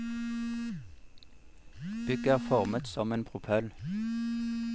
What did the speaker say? Bygget er formet som en propell.